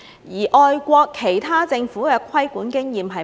外國其他政府的規管經驗是甚麼？